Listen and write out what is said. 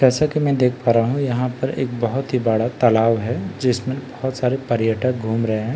जैसा कि मैं देख पा रहा हुँ इंहापर एक बहुत हि बड़ा तालाब है जिसमें बहुत सारे घूम रहे है।